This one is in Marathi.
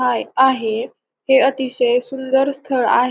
आय आहे. हे अतिशय सुंदर स्थळ आहे.